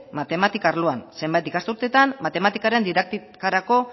matematika arloan zenbait ikasturtetan matematikaren didaktikarako